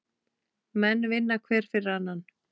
Menn vinna hver fyrir annan.